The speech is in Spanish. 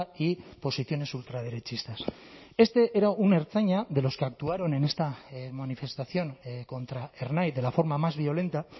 y posiciones ultraderechistas este era un ertzaina de los que actuaron en esta manifestación contra ernai de la forma más violenta